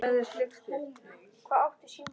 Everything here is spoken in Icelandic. Sástu þegar hún gerði hitt?